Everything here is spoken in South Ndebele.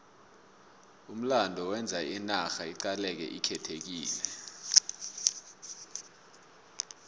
umlando wenza inarha iqaleke ikhethekile